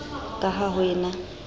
ka ha ho e na